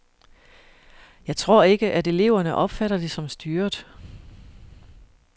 Jeg tror ikke, at eleverne opfatter det som styret.